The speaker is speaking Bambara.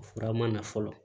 O fura ma na fɔlɔ